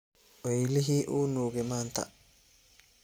Weylixi uunuke manta .